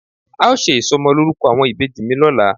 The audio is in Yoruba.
A ó ṣe ìsọmọlórúkọ àwọn ìbejì mi lọ́la.